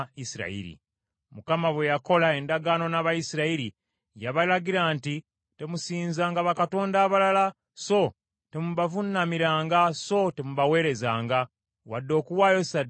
Mukama bwe yakola endagaano n’Abayisirayiri, yabalagira nti, “Temusinzanga bakatonda balala, so temubavuunamiranga so temubaweerezanga, wadde okuwaayo ssaddaaka gye bali.